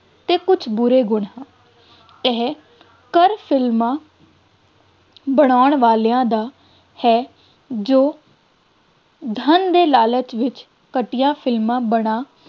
ਅਤੇ ਕੁੱਝ ਬੁਰੇ ਗੁਣ ਹਨ, ਇਹ ਫਿਲਮਾਂ ਬਣਾਉਣ ਵਾਲਿਆਂ ਦਾ ਹੈ, ਜੋ ਧੰਨ ਦੇ ਲਾਲਚ ਵਿੱਚ ਘਟੀਆ ਫਿਲਮਾਂ ਬਣਾ